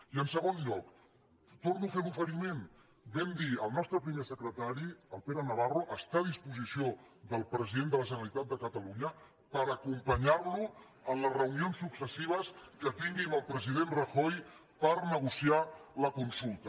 i en segon lloc torno a fer l’oferiment ho vam dir el nostre primer secretari el pere navarro està a dispo·sició del president de la generalitat de catalunya per acompanyar·lo en les reunions successives que tingui amb el president rajoy per negociar la consulta